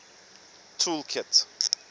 tool kit